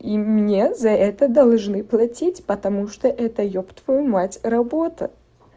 и мне за это должны платить потому что это ёб твою мать работа